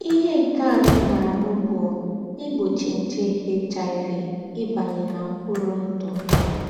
Íhé nké ànọ́ nà-àrụ́ bú ígbóchí njè HIV íbányé ná m̀kpùrù ǹdụ́.